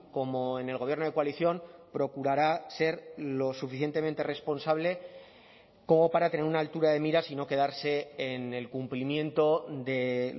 como en el gobierno de coalición procurará ser lo suficientemente responsable como para tener una altura de miras y no quedarse en el cumplimiento de